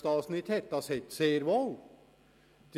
Das ist nämlich bereits sehr wohl der Fall.